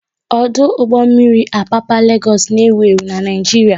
Ọdụ ụgbọ mmiri Apapa Legoosu n'ewu ewu n'Naijiria